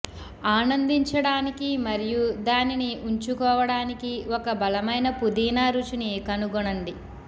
ఆనందించడానికి మరియు దానిని ఉంచుకోవడానికి ఒక బలమైన పుదీనా రుచిని కనుగొనండి